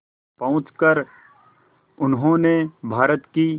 पहुंचकर उन्होंने भारत की